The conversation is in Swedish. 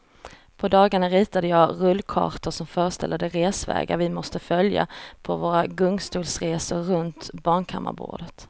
På dagarna ritade jag rullkartor som föreställde de resvägar vi måste följa på våra gungstolsresor runt barnkammarbordet.